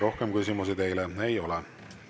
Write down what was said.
Rohkem küsimusi teile ei ole.